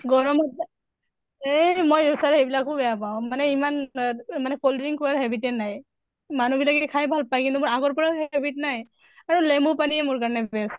গৰমত এই মই sir সেইবিলাকো বেয়া পাওঁ মানে ইমান অ মানে cold drinks খোৱাৰ habit য়ে নাই। মানুহ বিলাকে খাই ভাল পায় কিন্তু মোৰ আগৰ পৰা habit নাই। আৰু লেমু পানীয়ে মোৰ কাৰণে best